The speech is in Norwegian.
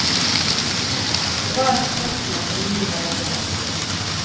Det var et spørsmål om liv eller død.